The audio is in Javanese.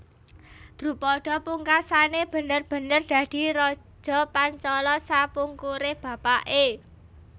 Drupada pungkasané bener bener dadi raja Pancala sapungkuré bapaké